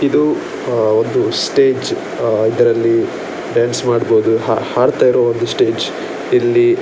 ಇದು ಒಂದು ಸ್ಟೇಜ್‌ ಅ ಇದರಲ್ಲಿ ಡಾನ್ಸ್‌ ಮಾಡ್ಬಹುದು ಹಾ ಹಾಡ್ತಾ ಇರುವ ಒಂದು ಸ್ಟೇಜ್‌ ಇಲ್ಲಿ --